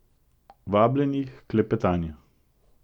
Vabljeni h klepetanju.